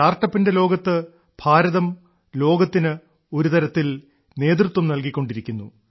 സ്റ്റാർട്ടപ്പിന്റെ ലോകത്ത് ഭാരതം ലോകത്തിന് ഒരുതരത്തിൽ നേതൃത്വം നൽകിക്കൊണ്ടിരിക്കുന്നു